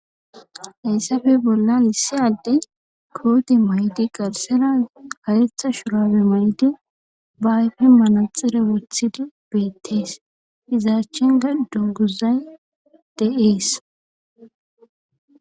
Hayssappe bollan issi Adey koote mayid garsera karetha shurabe mayidi ba ayfen manaxire wothidi betes, iza achanka saleday de'esi.